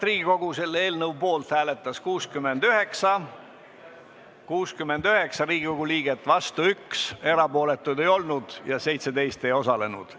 Hääletustulemused Auväärt Riigikogu, poolt hääletas 69 Riigikogu liiget, vastu oli 1, erapooletuks keegi ei jäänud ja 17 Riigikogu liiget ei osalenud.